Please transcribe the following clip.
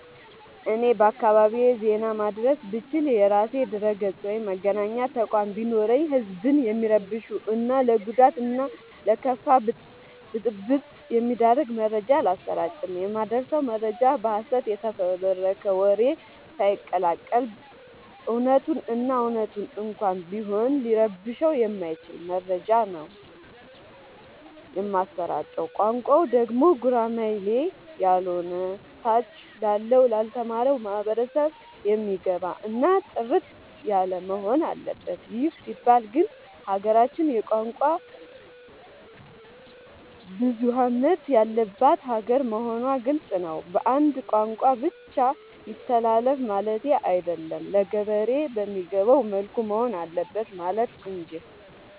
እኔ በአካባቢዬ ዜና ማድረስ ብችል። የራሴ ድረገፅ ወይም መገናኛ ተቋም ቢኖረኝ ህዝብን የሚረብሹ እና ለጉዳት እና ለከፋ ብጥብ የሚዳርግ መረጃ አላሰራጭም። የማደርሰው መረጃ በሀሰት የተፈበረከ ወሬ ሳይቀላቀል በት እውነቱን እና እውነት እንኳን ቢሆን ሊረብሸው የማይችል መረጃ ነው ከሆነ ብቻ ነው የማሰራጨው። ቋንቋው ደግሞ ጉራማይሌ ያሎነ ታች ላለው ላልተማረው ማህበረሰብ የሚገባ እና ጥርት ያለወሆን አለበት ይህ ሲባል ግን ሀገራችን የቋንቋ ብዙሀለት ያለባት ሀገር መሆኗ ግልፅ ነው። በአንድ ቋንቋ ብቻ ይተላለፍ ማለቴ አይደለም ለገበሬ በሚገባው መልኩ መሆን አለበት ማለት እንጂ።